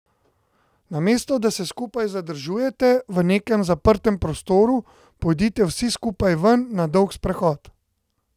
Namesto, da se skupaj zadržujete v nekem zaprtem prostoru, pojdite vsi skupaj ven na dolg sprehod.